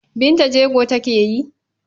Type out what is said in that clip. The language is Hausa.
Binta jego take yi?